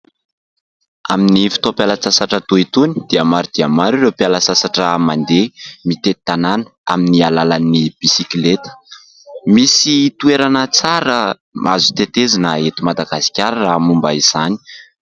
Amin'ny fotoam-pialatsasatra toa itony dia maro dia maro ireo mpiala sasatra mandeha mitety tanàna amin'ny alalan'ny bisikleta. Misy toerana tsara azo tetezina eto Madagasikara raha momba izany.